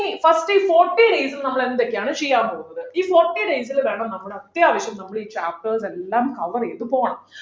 ഇനി first forty days ലു നമ്മൾ എന്തൊക്കെയാണ് ചെയ്യാൻ പോകുന്നത് ഈ forty days ല് വേണം നമ്മള് അത്യാവശ്യം നമ്മള് ഈ chapters എല്ലാം cover ചെയ്തു പോണം